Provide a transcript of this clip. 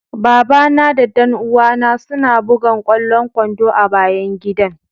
Baba na da dan uwa na suna bugan kwallon kwando a'bayan gidan.